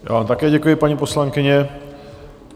Já vám také děkuji, paní poslankyně.